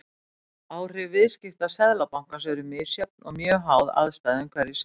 Áhrif viðskipta Seðlabankans eru misjöfn og mjög háð aðstæðum hverju sinni.